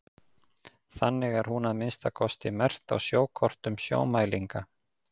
þannig er hún að minnsta kosti merkt á sjókortum sjómælinga